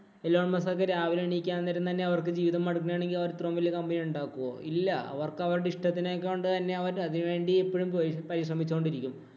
Alone‍ Musk ഒക്കെ രാവിലെ എണീക്കാന്‍ നേരം തന്നെ അവര്‍ക്ക് ജീവിതം മടുക്കുകയാണെങ്കില്‍ അവര്‍ ഇത്രേം വല്യ company ഒണ്ടാക്കുവോ? ഇല്ല, അവര്‍ അവര്‍ക്ക് അവരുടെ ഇഷ്ടത്തിനെ കൊണ്ട് തന്നെ അവര്‍ അതിനു വേണ്ടി എപ്പോഴും പരിശ്രമിച്ചു ക്കൊണ്ടിരിക്കും.